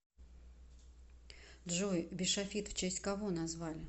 джой бишофит в честь кого назвали